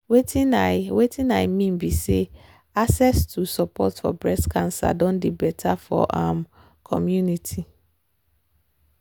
wetin i wetin i mean be say access to support for breast cancer doh dey better for our um community